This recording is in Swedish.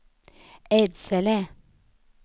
Edsele